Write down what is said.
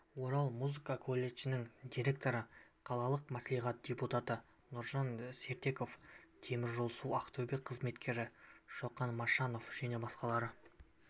орал музыка колледжінің директоры қалалық мәслихат депутаты нұржан сертеков теміржолсу-ақтөбе қызметкері шоқан машанов және басқалар